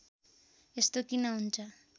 यस्तो किन हुन्छ